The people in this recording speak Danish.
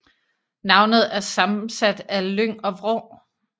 Navnet er sammensat af lyng og vrå